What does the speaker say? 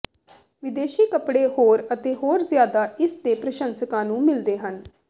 ਵਿਦੇਸ਼ੀ ਕੱਪੜੇ ਹੋਰ ਅਤੇ ਹੋਰ ਜਿਆਦਾ ਇਸ ਦੇ ਪ੍ਰਸ਼ੰਸਕਾਂ ਨੂੰ ਮਿਲਦੇ ਹਨ